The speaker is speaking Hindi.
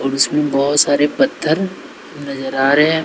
और इसमें बहुत सारे पत्थर नजर आ रहे हैं।